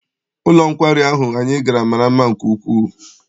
Ụlọ nkwari ahụ anyị gara mara mma nke ukwuu.